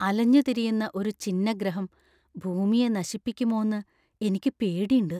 അലഞ്ഞുതിരിയുന്ന ഒരു ഛിന്നഗ്രഹം ഭൂമിയെ നശിപ്പിക്കുമോന്ന് എനിക്ക് പേടിണ്ട്.